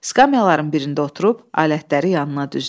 Skamyaların birində oturub alətləri yanına düzdü.